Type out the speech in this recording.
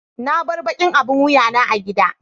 na bar ɓaƙin abin wuƴa na a giɗa.